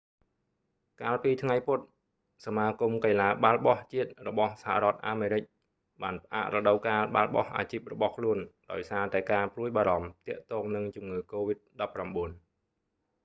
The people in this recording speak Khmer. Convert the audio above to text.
កាលពីថ្ងៃពុធ សមាគមកីឡាបាល់បោះជាតិរបស់សហរដ្ឋអាមេរិក nba បានផ្អាករដូវកាលបាល់បោះអាជីពរបស់ខ្លួន ដោយសារតែការព្រួយបារម្ភទាក់ទងនឹងជំងឺកូវីដ-19